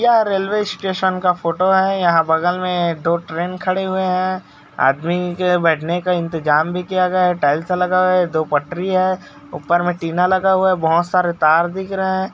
यह railway station का photo है यहाँ बगल मे दो ट्रैन खड़े हुए है आदमी के बैठने का इंतेज़ाम भी किया गया है टाइल्स लगा हुआ है दो पटरी है ऊपर मे टीना लगा है बहोत सारे तार दिख रहे है।